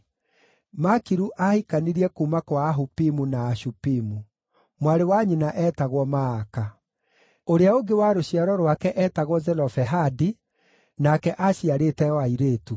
Makiru aahikanirie kuuma kwa Ahupimu na Ashupimu. Mwarĩ wa nyina eetagwo Maaka. Ũrĩa ũngĩ wa rũciaro rwake eetagwo Zelofehadi, nake aaciarĩte o airĩtu.